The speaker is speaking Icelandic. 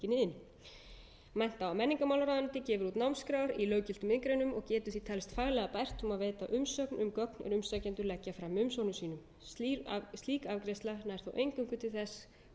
í tiltekinni iðn mennta og menningarmálaráðuneytið gefur út námskrár í löggiltum iðngreinum og getur því talist faglega bært um að veita umsögn um gögn er umsækjendur leggja fram með umsóknum sínum slík afgreiðsla nær þó eingöngu til þess hvort